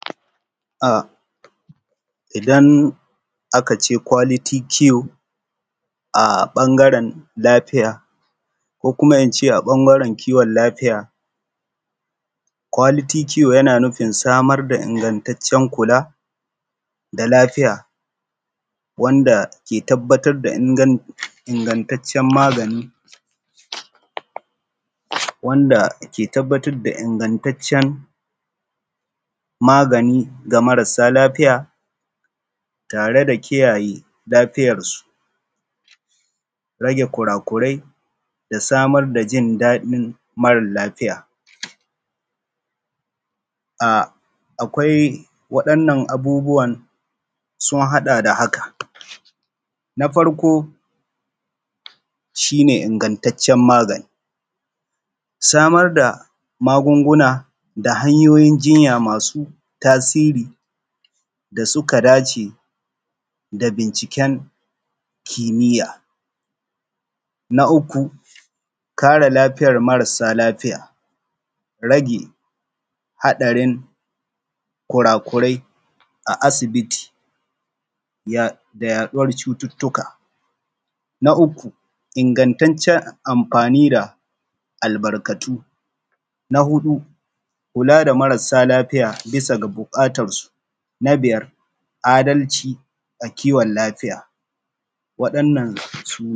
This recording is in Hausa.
A idan aka ce kwaliti kiyo a ɓangaen lafiya ko kuma in ce a ɓangaen kiwon lafiya, kwaliti kiyo na nufin sama da ingattacen kula da lafiya wanda ke tabbata da ingattaciyan magani wanda ke tabbata da ingattaciyan magani a marasa lafiya tare da kiyaye lafiyansu, rage kurakurai da sama da jin daɗin marasa lafiya. A akwai waɗannan abubuwan sun haɗa da haka: na farko shi ne ingattaciyan magani samar da magunguna ta hanyoyi jinya masu tasiri da su dace da binciken kimiya, na uku kare lafiyar marasa lafiya, rage haɗarin kukurai a asibiti da yaɗuwa cututtuka. Na uku ingattacen amfani da albarkatu, na huɗu kula da marasa lafiya bisa ga buƙatansu, na biya adalci da kiwon lafiya waɗannan su ne.